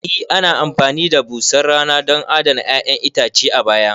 E ana amfani da busar rana don adana 'ya'yan itace a baya